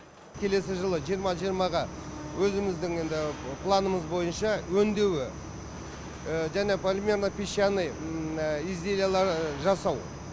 келесі жылы жиырма жиырмаға өзіміздің енді планымыз бойынша өңдеуі және полимерно песчаный изделиялар жасау